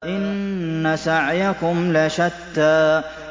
إِنَّ سَعْيَكُمْ لَشَتَّىٰ